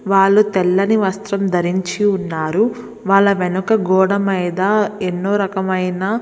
వాళ్లు తెల్లని వస్త్రం ధరించి ఉన్నారు. వాళ్ళ వెనుక గోడ మీద ఎన్నో రకమైన --